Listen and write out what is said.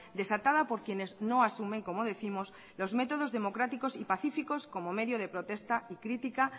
desatada por quienes no asumen como décimos los métodos democráticos y pacíficos como medio de protesta y crítica